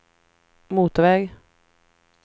motorväg